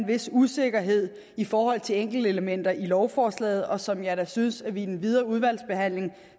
vis usikkerhed i forhold til enkeltelementer i lovforslaget og som jeg da synes at vi i den videre udvalgsbehandling